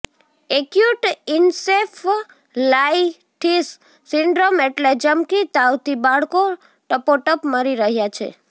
acute encephalitis syndrome એટલે ચમકી તાવથી બાળકો ટપોટપ મરી રહ્યાં છે